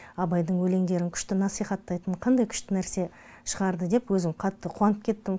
абайдың өлеңдерңн күшті насихаттайтын қандай күшті нәрсе шығарды деп өзім қатты қуанып кеттім